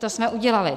To jsme udělali.